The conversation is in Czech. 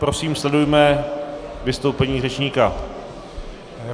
Prosím, sledujme vystoupení řečníka.